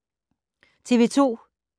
TV 2